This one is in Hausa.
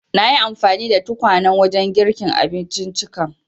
Nayi anfani da tukwanen wajen girka abinciccikan.